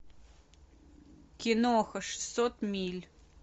киноха шестьсот миль